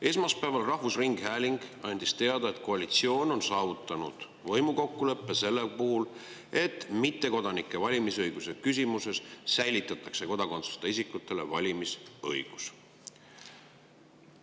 Esmaspäeval rahvusringhääling andis teada, et koalitsioon on saavutanud võimukokkuleppe selles, et mittekodanike valimisõiguse küsimuses säilitatakse kodakondsuseta isikutele valimisõigus.